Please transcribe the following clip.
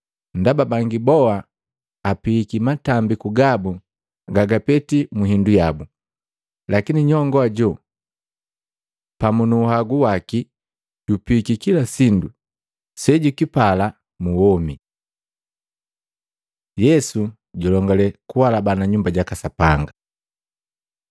Ndaba bangi boa apihiki matambiku gabu gagapeti mu hindu yabu, lakini nyongo ajo pamu nu uhagu waki jupihiki kila sindu sejukipala mu womi.” Yesu julongale kuhalabana Nyumba jaka Sapanga Matei 24:1-2; Maluko 13:1-2